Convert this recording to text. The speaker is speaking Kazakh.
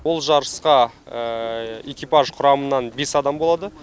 ол жарысқа экипаж құрамынан бес адам болады